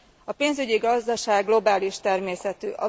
A pénzügyi gazdaság globális természetű.